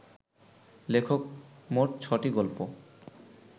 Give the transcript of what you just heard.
লেখক মোট ছ’টি গল্প